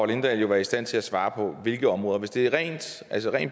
lindahl jo være i stand til at svare på hvilke områder hvis det er ren